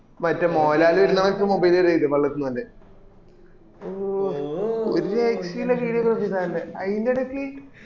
മറ്റേ മോഹൽലാൽ വരുന്ന പോലത്തെ mobile എറിയായിരിക് വേള്ളതിന്ന് ഓന്റെ ഒരു രക്ഷേമ എല്ലാ നോക്കിട് ഓന്റെ ആയതിന്റെ ഇടക്ക്